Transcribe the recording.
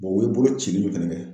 o ye bolo cili min fɛnɛ kɛ